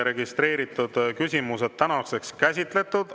Registreeritud küsimused on käsitletud.